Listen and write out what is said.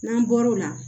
N'an bɔr'o la